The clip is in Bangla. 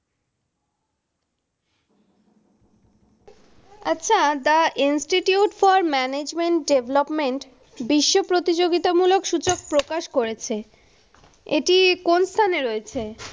আচ্ছা, The Institute for Management Development বিশ্ব প্রতিযোগিতামূলক সুযোগ প্রকাশ করেছে। এটি কোন স্থানে রয়েছে?